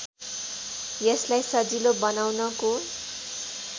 यसलाई सजिलो बनाउनको